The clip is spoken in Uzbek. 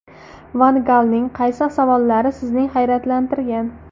Van Galning qaysi savollari sizni hayratlantirgan?